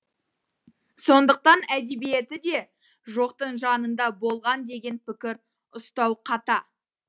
сондықтан әдебиеті де жоқтың жанында болған деген пікір ұстау қата